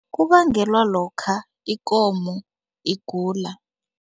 Kubangelwa lokha ikomo igula.